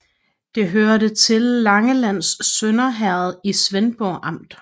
Det hørte til Langelands Sønder Herred i Svendborg Amt